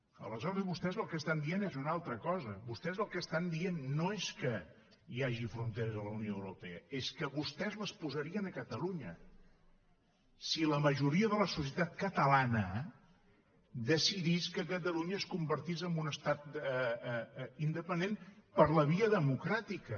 aleshores vostès el que estan dient és una altra cosa vostès el que estan dient no és que hi hagi fronteres en la unió europea és que vostès les posarien a catalunya si la majoria de la societat catalana decidís que catalunya es convertís en un estat independent per la via democràtica